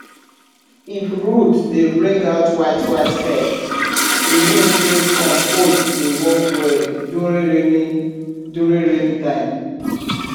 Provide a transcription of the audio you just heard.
if root dey bring out whitewhite hair e mean say compost dey work well during rainy during rainy time